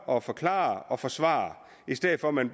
og forklare og forsvare i stedet for at man